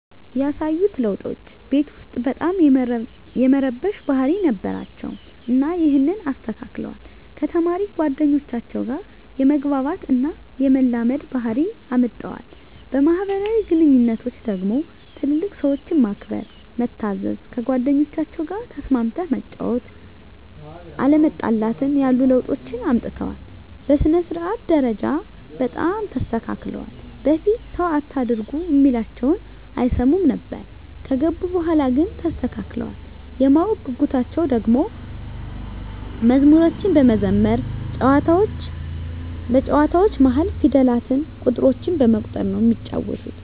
ያሳዩት ለዉጦች ቤት ዉስጥ በጣም የመረበሽ ባህሪ ነበራቸዉ እና ይሀንን አስተካክለዋል፣ ከተማሪ ጓደኞቻቸዉ ጋ የመግባባት እና የመላመድ ባህሪ አምጠዋል። በማህበራዊ ግንኙነቶች ደግሞ ትልልቅ ሰዎችን ማክበር፣ መታዘዝ፣ ከጓደኞቻቸዉ ጋ ተስማምተህ መጫወት፣ አለመጣላትን ያሉ ለዉጦችን አምጥተዋል። በሥነ-ስርዓት ደረጃ በጣም ተስተካክለዋል በፊት ሰዉ አታርጉ እሚላቸዉን አይሰሙም ነበር ከገቡ በኋላ ግን ተስተካክለዋል። የማወቅ ጉጉታቸዉ ደሞ መዝሙሮችን በመዘመር በጨዋታዎች መሀል ፊደላትን፣ ቁጥሮችን በመቁጠር ነዉ እሚጫወቱት።